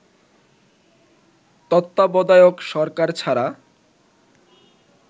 তত্ত্বাবধায়ক সরকার ছাড়া